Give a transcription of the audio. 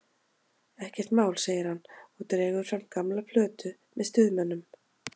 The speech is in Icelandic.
Ekkert mál, segir hann og dregur fram gamla plötu með Stuðmönnum.